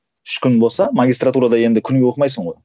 үш күн болса магистратурада енді күніге оқымайсың ғой